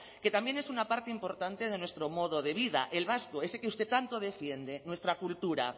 que también es una parte importante de nuestro modo de vida el vasco ese que usted tanto defiende nuestra cultura